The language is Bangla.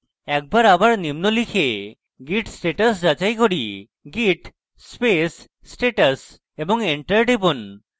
একবার আবার নিম্ন লিখে git status যাচাই করি git space status এবং enter টিপুন